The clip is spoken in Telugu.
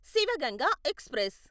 శివ్ గంగా ఎక్స్ప్రెస్